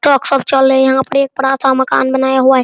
Truck सब चल रहे है यहाँ पर एक बड़ा-सा मकान बनाया हुआ है ।